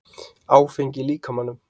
Áfengi í líkamanum